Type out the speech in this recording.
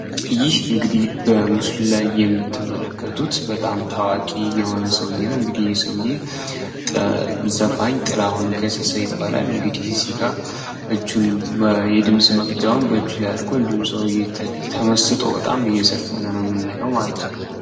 ይህ እንግዲህ በምስሉ ላይ የምትመለከቱት በጣም ታዋቂ የሆነ ሰውየ ነው እንግዲህ ይሄ ሰውዬ ዘፋኝ ጥላሁን ገሰሰ ይባላል። እንግዲ የድምጽ መቅጃውን እጅ ላይ አድርጎ ተመስጦ በጣም እየዘፈነ ነው የምናየው ማለት ነው።